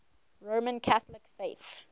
roman catholic faith